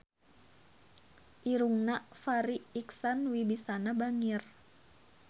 Irungna Farri Icksan Wibisana bangir